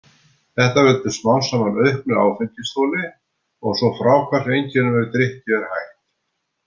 Þetta veldur smám saman auknu áfengisþoli og svo fráhvarfseinkennum ef drykkju er hætt.